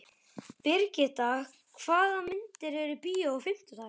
Brigitta, hvaða myndir eru í bíó á fimmtudaginn?